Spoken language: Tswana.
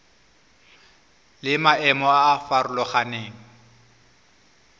le maemo a a farologaneng